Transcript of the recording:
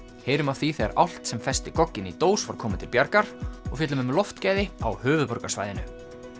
heyrum af því þegar álft sem festi gogginn í dós var komið til bjargar og fjöllum um loftgæði á höfuðborgarsvæðinu